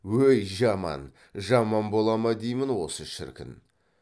өй жаман жаман бола ма деймін осы шіркін